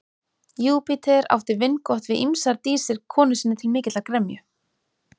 Júpíter átti vingott við ýmsar dísir konu sinni til mikillar gremju.